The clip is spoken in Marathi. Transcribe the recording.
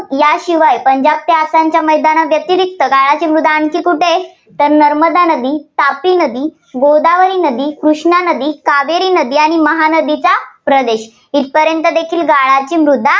याशिवाय पंजाबच्या आसामच्या मैदाना व्यतिरिक्त गाळाची मृदा आणखी कुठे आहे तर नर्मदा नदी, तापी नदी, गोदावरी नदी, कृष्णा नदी, कावेरी नदी, आणि महानदीचा प्रदेश इथंपर्यंत देखील गाळाची मृदा